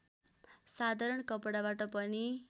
साधारण कपडाबाट पनि